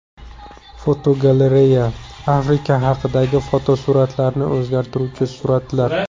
Fotogalereya: Afrika haqidagi taassurotlarni o‘zgartiruvchi suratlar.